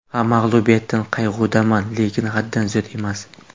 Ha, mag‘lubiyatdan qayg‘udaman, lekin haddan ziyod emas.